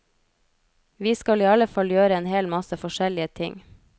Vi skal i alle fall gjør en hel masse forskjellige ting.